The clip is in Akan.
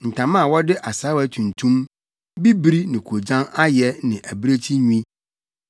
ntama a wɔde asaawa tuntum, bibiri ne koogyan ayɛ ne abirekyi nwi,